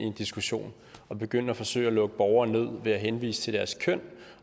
en diskussion og begynde at forsøge at lukke borgere ned ved at henvise til deres køn